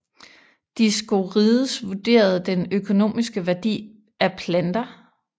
Dioskorides vurderede den økonomiske værdi af planter